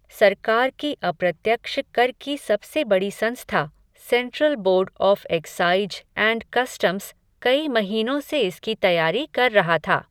सरकार की अप्रत्यक्ष कर की सबसे बड़ी संस्था, central board of excise and customs, कई महीनों से इसकी तैयारी कर रहा था.